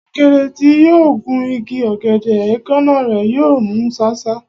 Ọ̀kẹ́rẹ́ tí yóò gun igi ọ̀gẹ̀dẹ̀, èékánná rẹ̀ yóò mú ṣáṣá.